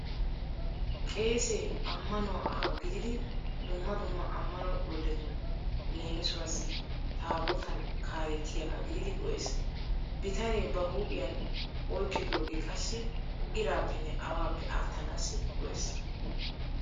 Qeesee ammanuwa aawa gididi dumma dumma ammano golletun leemisuwaassi taabbootan kaalettiyaga gididi go'eees. Bitanee ba huuphiyan oyqqidoogee qassi iraappenne awaappe attanaassi go'ees.